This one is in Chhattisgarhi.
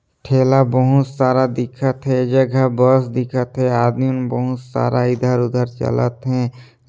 ठेला बहुत सारा दिखत हे जगह बस दिखत हे आदमी म बहुत सारा इधर उधर चलत हे।